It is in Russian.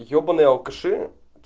ебаный алкаши